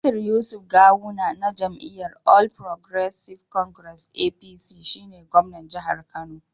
Nasir Yusuf Gawuna na jam'iyyar All Progressives Congress (APC) shi ne gwamnan jihar Kano.